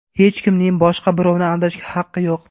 Hech kimning boshqa birovni aldashga haqqi yo‘q.